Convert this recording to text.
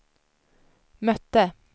mötte